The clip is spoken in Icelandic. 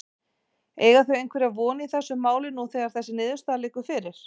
Eiga þau einhverja von í þessu máli nú þegar þessi niðurstaða liggur fyrir?